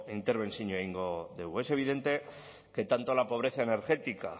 interbentzioa egingo dut es evidente que tanto la pobreza energética